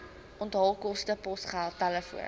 onthaalkoste posgeld telefoon